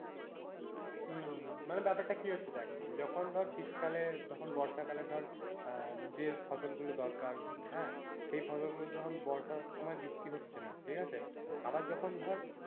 হম হম মানে ব্যাপারটা কি হচ্ছে দেখ, যখন ধর শীতকালে যখন বর্ষাকালে ধর আহ যে ফসলগুলো দরকার হ্যাঁ সেই ফসলগুলোতে তখন বর্ষার সময় বৃষ্টি হচ্ছে না ঠিক আছে, আবার যখন ধর,